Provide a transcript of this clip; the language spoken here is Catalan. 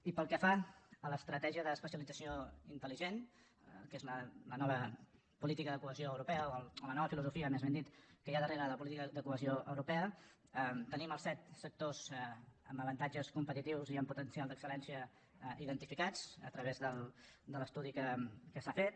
i pel que fa a l’estratègia d’especialització intel·que és la nova política de cohesió europea o la nova filosofia més ben dit que hi ha darrere de la política de cohesió europea tenim els set sectors amb avantatges competitius i amb potencial d’excel·lència identificats a través de l’estudi que s’ha fet